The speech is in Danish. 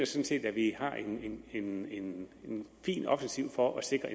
set at vi har en en fin offensiv for at sikre